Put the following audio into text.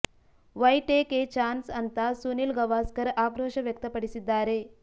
Y take a chance ಅಂತಾ ಸುನೀಲ್ ಗವಾಸ್ಕರ್ ಆಕ್ರೋಶ ವ್ಯಕ್ತಪಡಿಸಿದ್ದಾರೆ